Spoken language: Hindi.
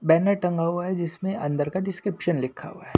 बैनर टंगा हुआ है जिसमें अंदर का डिस्क्रिप्शन लिखा हुआ है।